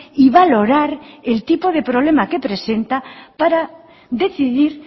y valorar el tipo de problema que presenta para decidir